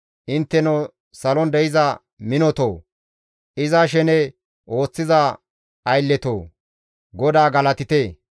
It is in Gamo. Intteno salon de7iza minotoo! Iza shene ooththiza aylletoo! GODAA galatite.